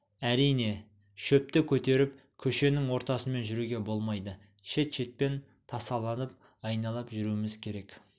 әрине шөпті көтеріп көшенің ортасымен жүруге болмайды шет-шетпен тасаланып айналып жүруіміз керек